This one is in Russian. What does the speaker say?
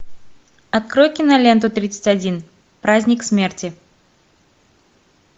открой киноленту тридцать один праздник смерти